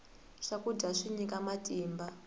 swakudya swi nyika matimba